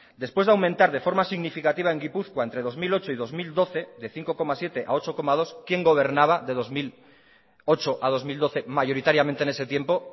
después de aumentar de forma significativa en gipuzkoa entre dos mil ocho y dos mil doce de cinco coma siete a ocho coma dos quién gobernaba de dos mil ocho a dos mil doce mayoritariamente en ese tiempo